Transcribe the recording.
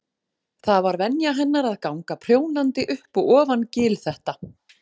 Það var venja hennar að ganga prjónandi upp og ofan gil þetta.